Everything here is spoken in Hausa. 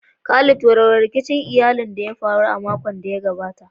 Khalid, warware rikicin iyali da ya faru a makon da ya gabata.